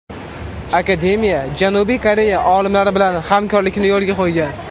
Akademiya Janubiy Koreya olimlari bilan hamkorlikni yo‘lga qo‘ygan.